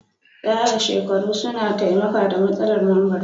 Tsara shekaru suna taimaka da matsala mambar su.